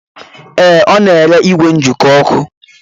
Ee, Ọ na-ere igwe njikọ ọkụ